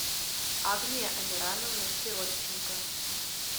агния амирановна сиротченко